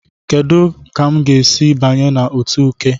Kedu otu m ga-esi banye na otu Uke?